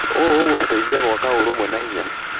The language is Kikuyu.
ũũ ũgũtũteithia gwaka ũrũmwe na hinya.